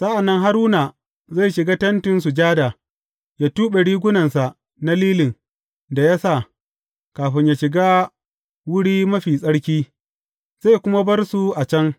Sa’an nan Haruna zai shiga Tentin Sujada yă tuɓe rigunansa na lilin da ya sa, kafin yă shiga Wuri Mafi Tsarki, zai kuma bar su a can.